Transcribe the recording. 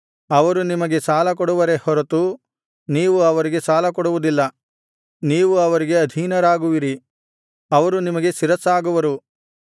ಅವರು ನಿಮಗೆ ಸಾಲಕೊಡುವರೇ ಹೊರತು ನೀವು ಅವರಿಗೆ ಕೊಡುವುದಿಲ್ಲ ನೀವು ಅವರಿಗೆ ಅಧೀನರಾಗುವಿರಿ ಅವರು ನಿಮಗೆ ಶಿರಸ್ಸಾಗುವರು